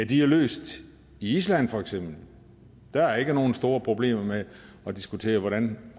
de er løst i island for eksempel der er ikke nogen store problemer med at diskutere hvordan